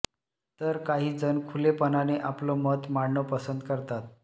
तर काही जणं खुलेपणाने आपलं मत मांडणं पसंत करतात